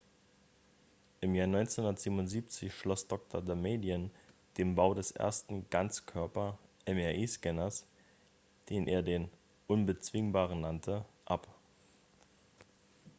"im jahr 1977 schloss dr. damadian den bau des ersten "ganzkörper""-mri-scanners den er den "unbezwingbaren" nannte ab.